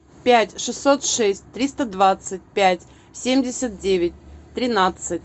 пять шестьсот шесть триста двадцать пять семьдесят девять тринадцать